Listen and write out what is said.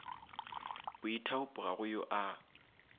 boithaopo ga go yo a